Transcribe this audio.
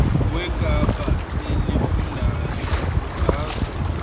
wekapa elifundayo ukhuthaza